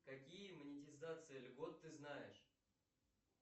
какие монетизации льгот ты знаешь